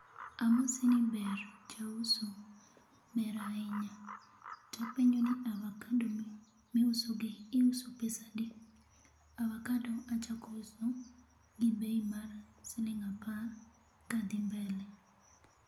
Amosi ni ber jauso, ber ahinya, tapenjo ni avacado miusogi iuso pesa adi, avacado achako uso gi bei mar siling apar kadhi mbele